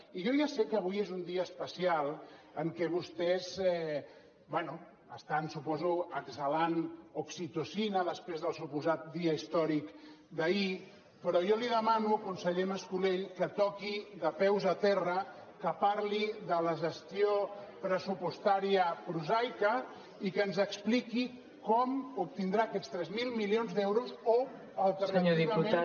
i jo ja sé que avui és un dia especial en què vostès bé estan suposo exhalant oxitocina després del suposat dia històric d’ahir però jo li demano conseller mascolell que toqui de peus a terra que parli de la gestió pressupostària prosaica i que ens expliqui com obtindrà aquests tres mil milions d’euros o alternativament